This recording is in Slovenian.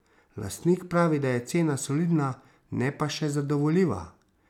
Lastnik pravi, da je cena solidna, ne pa še zadovoljiva.